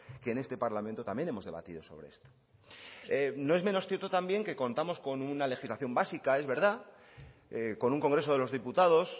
que en este parlamento también hemos debatido sobre esto no es menos cierto también que contamos con una legislación básica es verdad con un congreso de los diputados